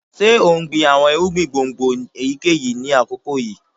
Ṣe o n gbin awọn irugbin gbongbo eyikeyi ni akoko yii?